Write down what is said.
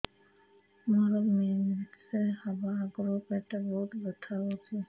ମୋର ମେନ୍ସେସ ହବା ଆଗରୁ ପେଟ ବହୁତ ବଥା ହଉଚି